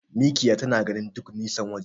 Mikiya tana gani duk nisan waje.